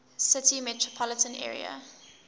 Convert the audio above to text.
city metropolitan area